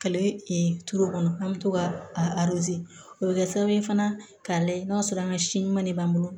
Ale turu kɔnɔ an bɛ to ka a o bɛ kɛ sababu ye fana k'a lajɛ n'a sɔrɔ an ka si ɲuman de b'an bolo